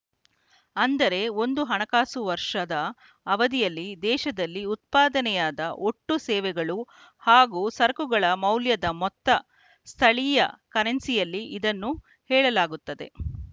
ಅಂದರೆ ಒಂದು ಹಣಕಾಸು ವರ್ಷದ ಅವಧಿಯಲ್ಲಿ ದೇಶದಲ್ಲಿ ಉತ್ಪಾದನೆಯಾದ ಒಟ್ಟು ಸೇವೆಗಳು ಹಾಗೂ ಸರಕುಗಳ ಮೌಲ್ಯದ ಮೊತ್ತ ಸ್ಥಳೀಯ ಕರೆನ್ಸಿಯಲ್ಲಿ ಇದನ್ನು ಹೇಳಲಾಗುತ್ತದೆ